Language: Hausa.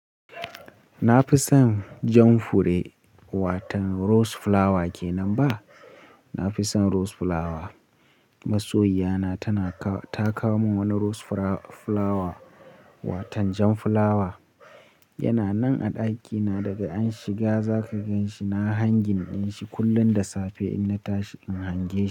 Na fi son jan fure, watan rose flower ke nan ba? Na fi son rose flower. Masoyi yana ta kawo min wani rose flower, watan jan flower. Yana nan a ɗakina daga an shiga. Zaka gan shi, na hangin ɗin shi kullum da safe in na tashi in hange shi.